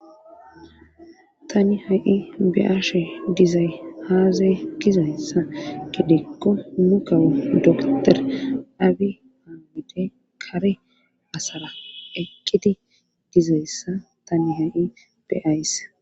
tani ha7i be,ashe dizay aaze gizayssa gidikko nukawo doktor abi haamidey kare asara eqqidi dizayssa tani ha7i beays